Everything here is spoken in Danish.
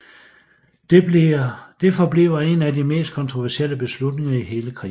Det forbliver en af de mest kontroversielle beslutninger i hele krigen